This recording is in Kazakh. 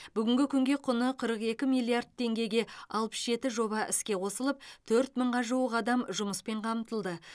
бүгінгі күнге құны қырық екі миллиард теңгеге алпыс жеті жоба іске қосылып төрт мыңға жуық адам жұмыспен қамтылды